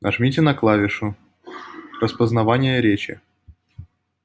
нажмите на клавишу распознавание речи